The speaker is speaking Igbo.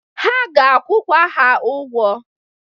Ha ga-akwụkwa ha ụgwọ.